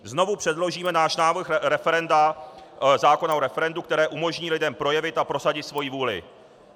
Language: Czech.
Znovu předložíme náš návrh zákona o referendu, které umožní lidem projevit a prosadit svoji vůli.